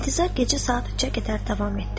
İntizar gecə saat 3-ə qədər davam etdi.